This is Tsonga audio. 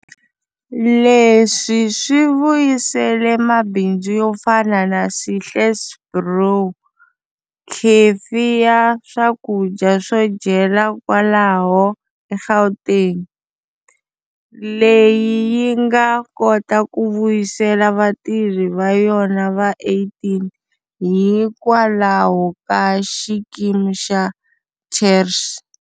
Leswi swi vuyisele mabindzu yo fana na Sihle's Brew, khefi ya swakudya swo dyela kwalaho eGauteng, leyi yi nga kota ku vuyisela vatirhi va yona va 18 hikwalaho ka xikimi xa TERS.